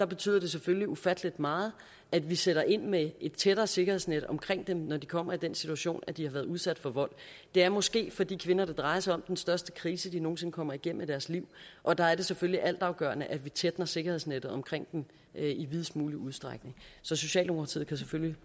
betyder det selvfølgelig ufattelig meget at vi sætter ind med et tættere sikkerhedsnet omkring dem når de kommer i den situation at de har været udsat for vold det er måske for de kvinder det drejer sig om den største krise de nogen sinde kommer igennem i deres liv og der er det selvfølgelig altafgørende at vi tætner sikkerhedsnettet omkring dem i videst mulig udstrækning så socialdemokratiet kan selvfølgelig